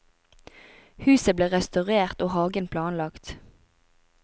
Huset ble restaurert og hagen planlagt.